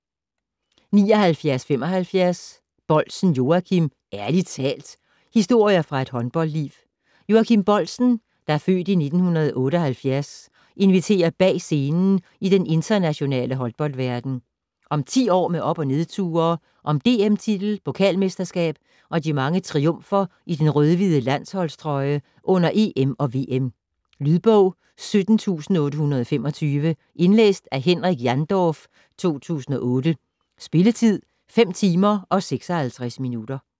79.75 Boldsen, Joachim: Ærlig talt!: historier fra et håndboldliv Joachim Boldsen (f. 1978) inviterer bag scenen i den internationale håndboldverden. Om 10 år med op og nedture. Om DM-titel, pokalmesterskab og de mange triumfer i den rød-hvide landsholdstrøje under EM og VM. Lydbog 17825 Indlæst af Henrik Jandorf, 2008. Spilletid: 5 timer, 56 minutter.